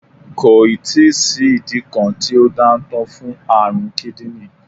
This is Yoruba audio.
Kò ì tí sí ìdí kan tí ó dáńtọ́ fún àrùn kídìní